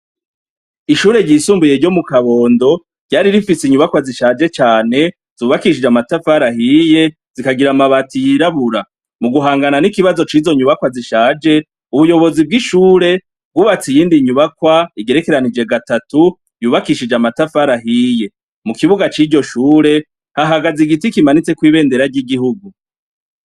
Ishure ryisumbuye ryo mu kabondo ryari rifise inyubakwa zishaje cane zibakishije amatafari ahiye zikagira amabati yirabura. Mu guhangana n'ikibazo c'izo nyubakwa zishaje, ubuyobozi bw'ishure bwubatse iyindi nyubakwa igerekeranije gatatu yubakishije anatafari ahiye , mu kibuga c'iryo shure hahagaze igiti kimanitseko ibendera ry'igihugu.